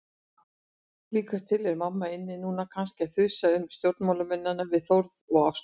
Líkast til er mamma inni núna, kannski að þusa um stjórnmálamennina við Þórð og Ástu.